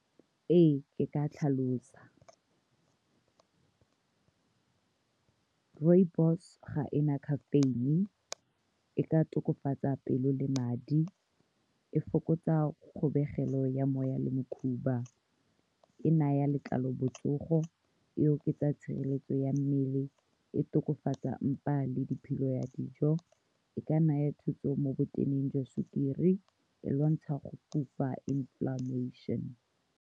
Ee, ke ka tlhalosa rooibos, ga ena caffeine, e ka tokafatsa pelo le madi, e fokotsa kgobegelo ya moya le mokhuba, e naya letlalo botsogo, e oketsa tshireletso ya mmele, e tokafatsa mpa le diphilo ya dijo, e ka naya thuso mo bo jwa sukiri, e lwantsha go inflammation.